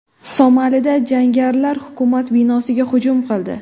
Somalida jangarilar hukumat binosiga hujum qildi.